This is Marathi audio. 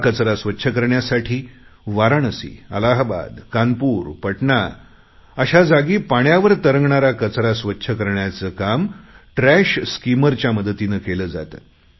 हा कचरा स्वच्छ करण्यासाठी वाराणसी अलाहाबाद कानपूर पटणा अशा जागी पाण्यावर तरंगणारा कचरा स्वच्छ करण्याचे काम ट्रॅश स्कीमर मदतीने केले जाते